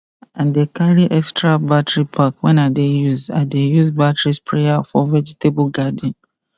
i dey carry extra battery pack when i dey use i dey use battery sprayer for vegetable garden